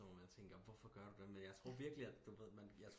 Sådan hvor man tænker hvorfor gør du det men jeg tror virkelig at du ved når man